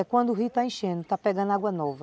É quando o rio está enchendo, está pegando água nova.